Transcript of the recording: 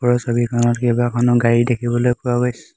ওপৰৰ ছবিখনত কেইবাখনো গাড়ী দেখিবলৈ পোৱা গৈছে।